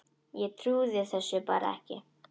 Ég trúði þessu bara ekki.